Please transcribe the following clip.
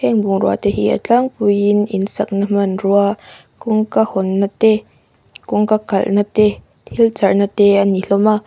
heng bungrua te hi a tlangpuiin insakna hmanrua kawngka hawn nâ te kawngka kalh nâ te thil charh nâ te ani hlawm a.